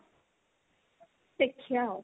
ଦେଖିଆ ଆଉ